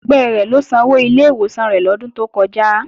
Ẹgbẹ́ rẹ̀ ló sanwó ilé ìwòsàn rẹ̀ lọ́dún tó kọjá